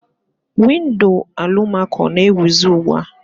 Windo alụmako na-ewizi ugbua.